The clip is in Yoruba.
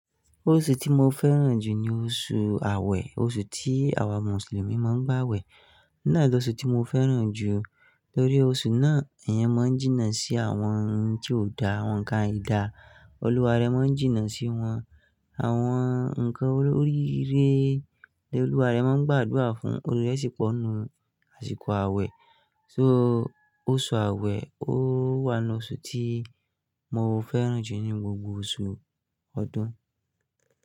Oṣù tí mo fẹ́ràn jù ní oṣù Awé, oṣù tí àwa mùsùlùmí máa ń gbàwẹ̀. Náà lóṣù tí mo fẹ́ràn jù. Tórí oṣù náà, èèyàn máa ń jìnnà sí àwọn ohun tí ó dá, àwọn nǹkan aidà. Olúwa rẹ̀ máa ń jìnnà sí wọn, àwọn nǹkan olóríire, ní Olúwa rẹ̀ máa ń gbàdúrà fún oríre sípò nu, àsìkò Awé. So oṣù Awé, ó wà nu ọ́ṣù tí mo fẹ́ràn jù ní gbogbo oṣù ọdún.